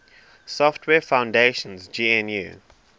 software foundation's gnu